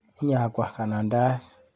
Inyakwa kanandaet.